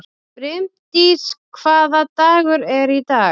Brimdís, hvaða dagur er í dag?